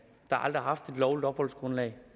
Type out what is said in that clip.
aldrig har haft et lovligt opholdsgrundlag